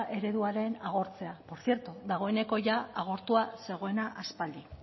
ereduaren agortzea por cierto dagoeneko jada agortua zegoena aspaldi